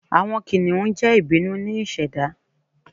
Awọn kiniun jẹ ibinu ni iseda